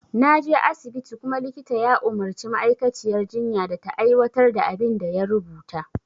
Naje asibiti kuma likita ya umarci ma'aikaciyar jinya da ta aiwatar da abin da ya rubuta